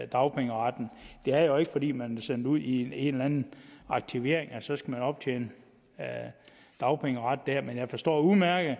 dagpengeretten det er jo ikke fordi man bliver sendt ud i en eller anden aktivering at man så skal optjene dagpengeret der men jeg forstår udmærket